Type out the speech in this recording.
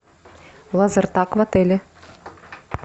лазертаг в отеле